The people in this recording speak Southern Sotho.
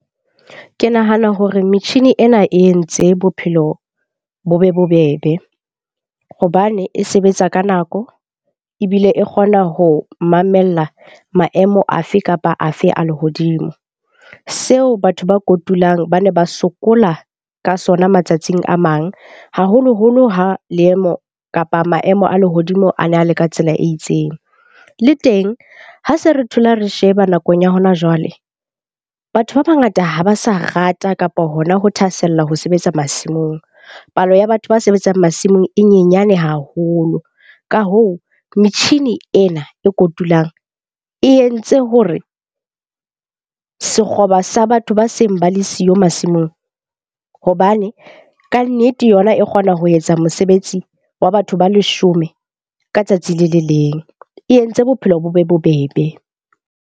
Ke nahana hore metjhini ena e entse bophelo bo be bobebe hobane e sebetsa ka nako. Ebile e kgona ho mamella maemo afe kapa afe a lehodimo. Seo batho ba kotulang ba ne ba sokola ka sona matsatsing a mang, haholoholo ha leemo kapa maemo a lehodimo a ne a le ka tsela e itseng. Le teng ha se re thola, re sheba nakong ya hona jwale, batho ba bangata ha ba sa rata kapa hona ho thahasella ho sebetsa masimong. Palo ya batho ba sebetsang masimong e nyenyane haholo. Ka hoo, metjhini ena e kotulang e entse hore sekgoba sa batho ba seng ba le siyo masimong. Hobane kannete yona e kgona ho etsa mosebetsi wa batho ba leshome ka tsatsi le le leng. E entse bophelo bo be bobebe.